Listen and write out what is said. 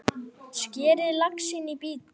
Skerið laxinn í bita.